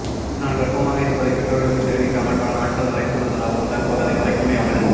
நான் கர்ப்பமாக இருப்பதை பெற்றோருக்கு தெரிவிக்காமல் பல நாட்கள் மறைத்து வந்ததாகவும் தற்போது அதை மறைக்க முடியாமல்